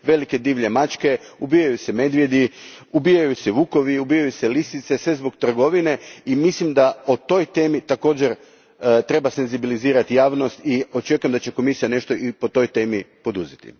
velike divlje mačke, ubijaju se medvjedi, ubijaju se vukovi i ubijaju se lisice, sve zbog trgovine i mislim da o toj temi također treba senzibilizirati javnost te očekujem da će Komisija nešto po toj temi i poduzeti.